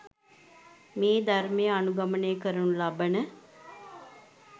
මේ ධර්මය අනුගමනය කරනු ලබන